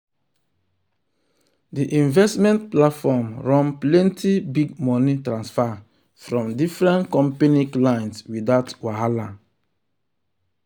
the investment platform run plenty big money transfer from different company clients without wahala.